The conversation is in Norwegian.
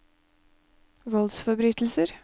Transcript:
voldsforbrytelser